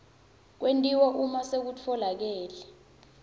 kwentiwa uma sekutfolakele